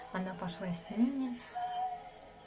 она пошла с ними